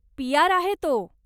PR. आहे तो.